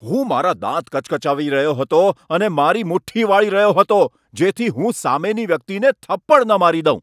હું મારા દાંત કચકચાવી રહ્યો હતો અને મારી મુઠ્ઠી વાળી રહ્યો હતો, જેથી હું સામેની વ્યક્તિને થપ્પડ ન મારી દઉં.